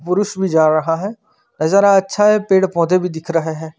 पुरुष भी जा रहा है नजारा अच्छा है पेड़ पोधे भी दिख रहे हैं।